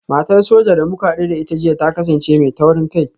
Matar Soja da muka hadu da ita jiya ta kasance mai taurin kai